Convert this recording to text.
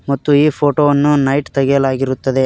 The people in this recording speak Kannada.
ಮತ್ತು ಈ ಫೋಟೋ ವನ್ನು ನೈಟ್ ತೆಗೆಯಲಾಗಿರುತ್ತದೆ.